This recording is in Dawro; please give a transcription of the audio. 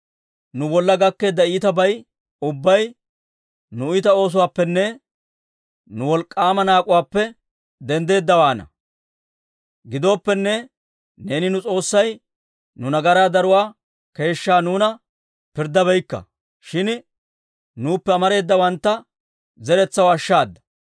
«Nu bolla gakkeedda iitabay ubbay nu iita oosuwaappenne nu wolk'k'aama naak'uwaappe denddeeddawaana. Gidooppenne, neeni nu S'oossay nu nagaraa daruwaa keeshshaa nuuna pirddabeykka; shin nuuppe amareedawantta zeretsaw ashshaada.